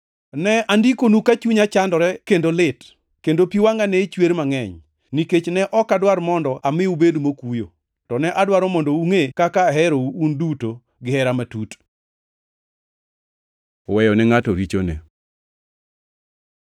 Ne andikonu ka chunya chandore kendo lit; kendo pi wangʼa ne chwer mangʼeny, nikech ne ok adwar mondo ami ubed mokuyo, to ne adwaro mondo ungʼe kaka aherou, un duto, gihera matut. Weyo ne ngʼato richone